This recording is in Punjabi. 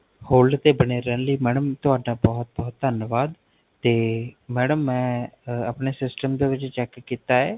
Hold ਤੇ ਬਣੇ ਰਹਨ ਲਈ, Madam ਤੁਹਾਡਾ ਬਹੁਤੁ ਬਹੁਤ ਧਨਵਾਦ ਤੇ Madam ਮੈਂ ਆਪਣੇ Syatem ਦੇ ਵਿੱਚ Check ਕਿੱਤਾ ਹੈ